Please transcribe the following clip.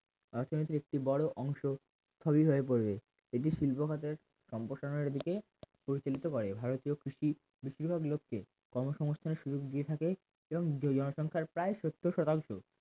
অর্থনৈতিক একটি বড় অংশ সবই হয় পড়বে এটি শিল্প খাতের সম্প্রসারণের দিকে পরিচালিত করে ভারতীয় কৃষি বেশিরভাগ লোককে কর্মসংস্থানের সুযোগ দিয়ে থাকে এবং জনসংখ্যার প্রায় সত্তর শতাংশ